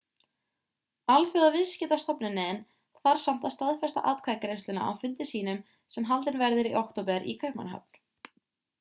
alþjóðaviðskiptastofnunin þarf samt að staðfesta atkvæðagreiðsluna á fundi sínum sem haldinn verður í október í kaupmannahöfn